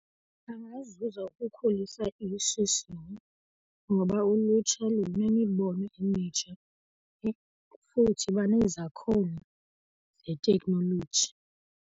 Bangazuza ukukhulisa ishishini ngoba ulutsha lunemibono emitsha yaye futhi banezakhono zeteknoloji.